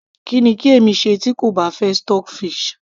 kí ni kí èmi ṣe tí kò bá fẹ́ stockfish